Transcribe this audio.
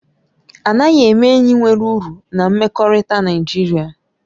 A naghị eme enyi nwere uru na mmekọrịta Naịjirịa